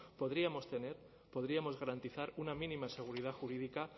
podríamos tener podríamos garantizar una mínima seguridad jurídica